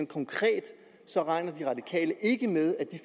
konkret så regner de radikale ikke med